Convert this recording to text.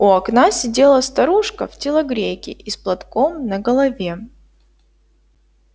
у окна сидела старушка в телогрейке и с платком на голове